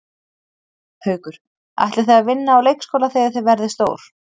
Haukur: Ætlið þið að vinna á leikskóla þegar þið verðið stór?